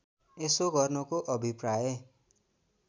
यसो गर्नुको अभिप्राय